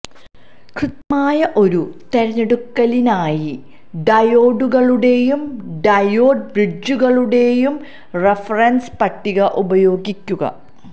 കൃത്യമായ ഒരു തിരഞ്ഞെടുക്കലിനായി ഡയോഡുകളുടെയും ഡയോഡ് ബ്രിഡ്ജുകളുടെയും റഫറൻസ് പട്ടിക ഉപയോഗിക്കുക